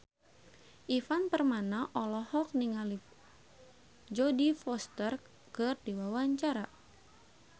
Ivan Permana olohok ningali Jodie Foster keur diwawancara